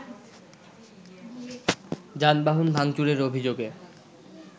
যানবাহন ভাঙচুরের অভিযোগে